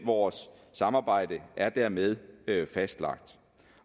vores samarbejde er dermed fastlagt